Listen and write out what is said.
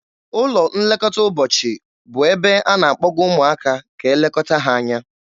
Ụlọ nlekọta ụbọchị bụ ebe a na-akpọga ụmụaka ka e lekọta ha anya.